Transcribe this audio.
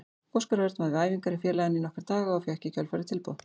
Óskar Örn var við æfingar hjá félaginu í nokkra daga og fékk í kjölfarið tilboð.